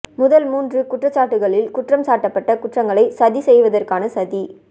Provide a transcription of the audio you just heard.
முதல் மூன்று குற்றச்சாட்டுக்களில் குற்றம் சாட்டப்பட்ட குற்றங்களைச் சதி செய்வதற்கான சதி